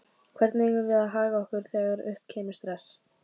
Hvernig eigum við að haga okkur þegar upp kemur stress?